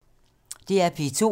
DR P2